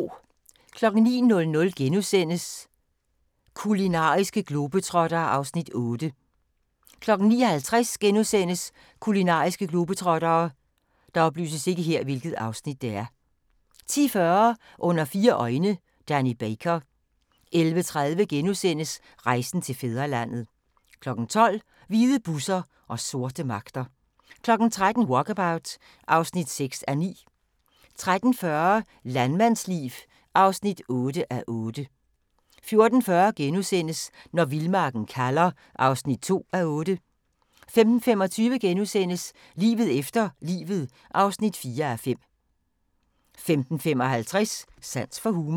09:00: Kulinariske globetrottere (Afs. 8)* 09:50: Kulinariske globetrottere * 10:40: Under fire øjne – Danny Baker 11:30: Rejsen til fædrelandet * 12:00: Hvide busser og sorte magter 13:00: Walkabout (6:9) 13:40: Landmandsliv (8:8) 14:40: Når vildmarken kalder (2:8)* 15:25: Livet efter livet (4:5)* 15:55: Sans for humor